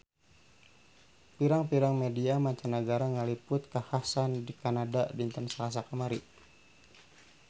Pirang-pirang media mancanagara ngaliput kakhasan di Kanada dinten Salasa kamari